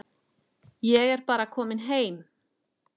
Ég er bara kominn heim.